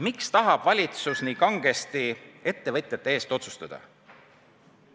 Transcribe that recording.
Miks tahab valitsus nii kangesti ettevõtjate eest otsustada?